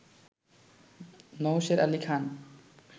Nowsher Ali Khan